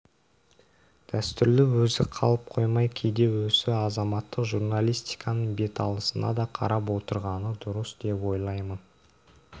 дәстүрлі өзі қалып қоймай кейде осы азаматтық журналистиканың беталысына да қарап отырғаны дұрыс деп ойлаймын